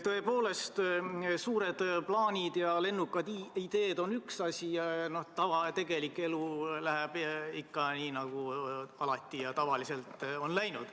Tõepoolest, suured plaanid ja lennukad ideed on üks asi, aga tava-, tegelik elu läheb ikka nii, nagu tavaliselt on läinud.